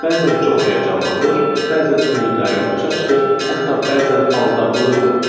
Bəzən çox həyəcanlanır, bəzən ümidlərim puça çıxır, hətta bəzən aldadılırdım.